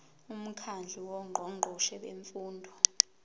umkhandlu wongqongqoshe bemfundo